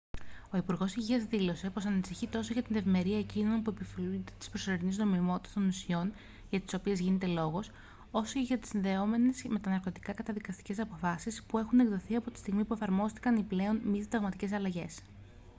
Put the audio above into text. ο υπουργός υγείας δήλωσε πως ανησυχεί τόσο για την ευημερία εκείνων που επωφελούνται της προσωρινής νομιμότητας των ουσιών για τις οποίες γίνεται λόγος όσο και για τις συνδεόμενες με τα ναρκωτικά καταδικαστικές αποφάσεις που έχουν εκδοθεί από τη στιγμή που εφαρμόστηκαν οι πλέον μη συνταγματικές αλλαγές